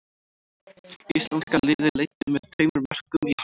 Íslenska liðið leiddi með tveimur mörkum í hálfleik.